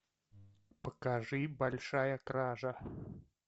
покажи большая кража